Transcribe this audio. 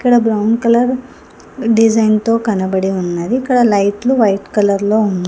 ఇక్కడ brown colour డిజైన్తో కనబడి ఉన్నది ఇక్కడ లైట్లు వైట్ కలర్ లో ఉం--